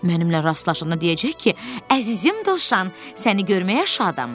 Mənimlə rastlaşanda deyəcək ki, əzizim Dovşan, səni görməyə şadam.